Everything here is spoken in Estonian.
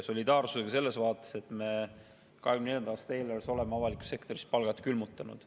Solidaarsusega selles vaates, et me 2024. aasta eelarves oleme avalikus sektoris palgad külmutanud.